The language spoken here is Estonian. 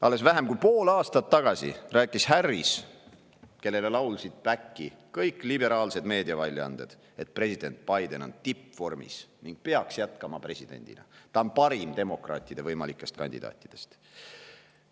Alles vähem kui pool aastat tagasi rääkis Harris, kellele laulsid back'i kõik liberaalsed meediaväljaanded, et president Biden on tippvormis ning peaks jätkama presidendina, ta on parim demokraatide võimalikest kandidaatidest.